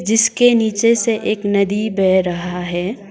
जिसके नीचे से एक नदी बह रहा है।